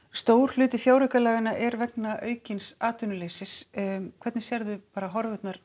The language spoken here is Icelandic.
stór hluti fjáraukalaganna er vegna aukins atvinnuleysis hvernig sérð þú horfurnar